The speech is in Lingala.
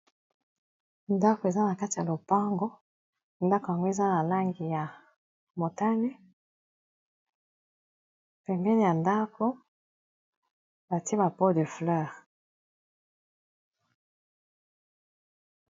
Ndako eza na kati ya lopango ndako yango eza na langi ya motane pembeni ya ndako batie ba po de fleur.